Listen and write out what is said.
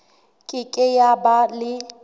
ke ke ya ba le